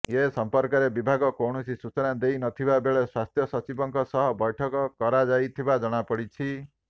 ଏ ସମ୍ପର୍କରେ ବିଭାଗ କୌଣସି ସୂଚନା ଦେଇ ନଥିବା ବେଳେ ସ୍ୱାସ୍ଥ୍ୟ ସଚିବଙ୍କ ସହ ବୈଠକ କରାଯାଇଥିବା ଜଣାପଡ଼ିଛି